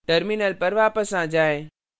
terminal पर वापस आ जाएँ